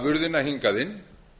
afurðina hingað inn